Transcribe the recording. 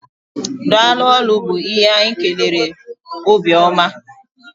Daalụ ólú bu ihe anyị kelere Obiọma.